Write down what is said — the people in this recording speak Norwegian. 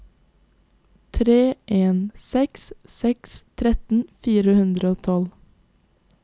tre en seks seks tretten fire hundre og tolv